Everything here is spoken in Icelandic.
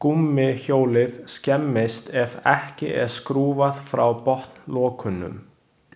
Gúmmíhjólið skemmist ef ekki er skrúfað frá botnlokunum.